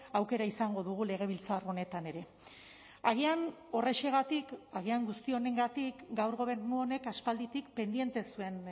aukera izango dugu legebiltzar honetan ere agian horrexegatik agian guzti honengatik gaur gobernu honek aspalditik pendiente zuen